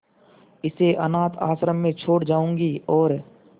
इसे अनाथ आश्रम में छोड़ जाऊंगी और